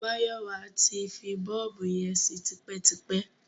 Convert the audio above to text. Máyọ̀wá ti fi bọ́ọ̀bù yẹn sí tipẹ́tipẹ́.